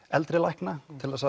eldri lækna